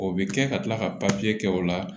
O bɛ kɛ ka tila ka kɛ o la